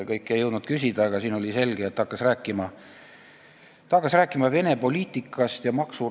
Kõike ei jõudnud küsida, aga selge oli, et ta hakkas rääkima Vene poliitikast ja maksurahust.